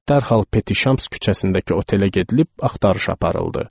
Dərhal Peti Şams küçəsindəki otelə gedilib axtarış aparıldı.